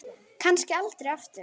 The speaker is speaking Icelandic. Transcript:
Kannski aldrei aftur.